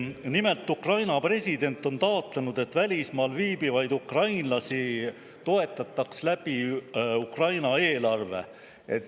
Nimelt, Ukraina president on taotlenud, et välismaal viibivaid ukrainlasi toetataks Ukraina eelarvest.